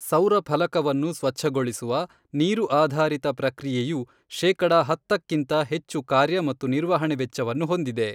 ಸೌರ ಫಲಕವನ್ನು ಸ್ವಚ್ಛಗೊಳಿಸುವ, ನೀರು ಆಧಾರಿತ ಪ್ರಕ್ರಿಯೆಯು ಶೇಕಡ ಹತ್ತಕ್ಕಿಂತ ಹೆಚ್ಚು ಕಾರ್ಯ ಮತ್ತು ನಿರ್ವಹಣೆ ವೆಚ್ಚವನ್ನು ಹೊಂದಿದೆ.